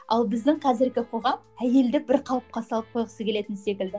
ал біздің қазіргі қоғам әйелді бір қалыпқа салып қойғысы келетін секілді